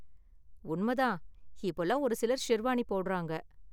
உண்மை தான், இப்போலாம் ஒரு சிலர் ஷெர்வானி போடுறாங்க.